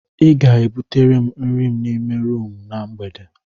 Ị ga-ebutere m nri n'ime rumụ na mgbede.